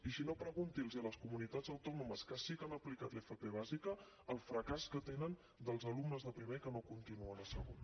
i si no pregunti a les comunitats autònomes que sí que han aplicat l’fp bàsica el fracàs que tenen dels alumnes de primer que no continuen a segon